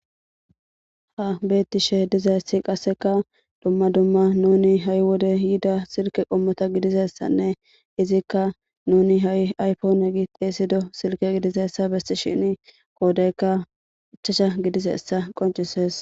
ha bettishe dizayssi qasseka dumma dumma nuni ha7i wode yida silke qommota gidizessanne izikka nuni ha7i aypoonegi xeesido silke gidizessa bestishini qoodeykka ichasha gidizeessa qoncisees